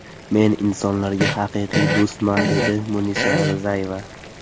Men insonlarga haqiqiy do‘stman!” dedi Munisa Rizayeva.